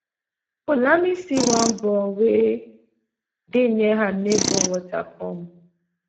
poulami see one ball wey dey near her neighbour water pump